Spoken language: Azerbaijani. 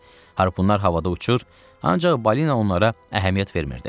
Harpunlar havada uçur, ancaq balina onlara əhəmiyyət vermirdi.